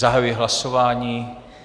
Zahajuji hlasování.